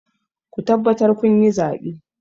Ku tabbatar kun yi zaɓe!